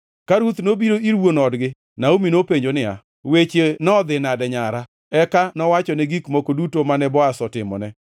Ka Ruth nobiro ir wuon odgi, Naomi nopenjo niya, “Weche nodhi nade, nyara?” Eka nowachone gik moko duto mane Boaz otimone,